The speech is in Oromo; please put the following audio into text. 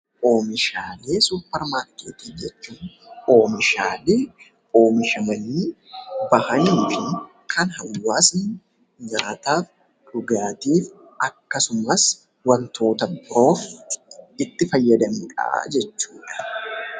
Oomishaalee suupermaarkeetii jechuun immoo oomishaalee oomishamanii fi kan hawaasa tokko nyaataaf, dhugaatiif akkasumas wantoota biroof itti fayyadamnudha jechuudha.